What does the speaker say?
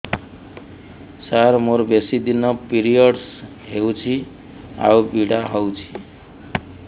ସାର ମୋର ବେଶୀ ଦିନ ପିରୀଅଡ଼ସ ହଉଚି ଆଉ ପୀଡା ହଉଚି